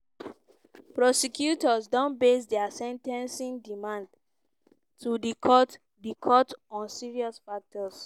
prosecutors don base dia sen ten cing demands to di court di court on serious factors.